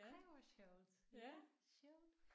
Ej hvor sjovt ja sjovt